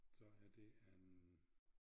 Så er det en